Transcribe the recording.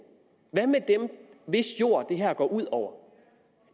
hvad med dem hvis jord det her går ud over